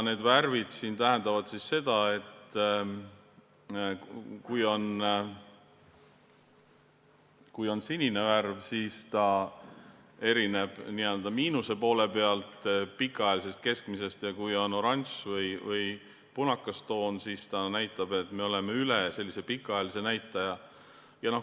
Need värvid siin tähendavad seda, et kui on sinine värv, siis ta erineb n-ö miinuspoole peal pikaajalisest keskmisest, ja kui on oranž või punakas toon, siis see näitab, et me oleme pikaajalise näitaja ületanud.